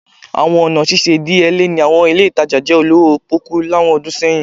Awọn ọna ṣiṣe idiyele ni awọn ile itaja jẹ olowo poku awọn ọdun sẹyin